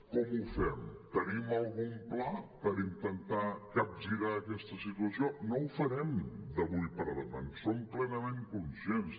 com ho fem tenim algun pla per intentar capgirar aquesta situació no ho farem d’avui per demà en som plenament conscients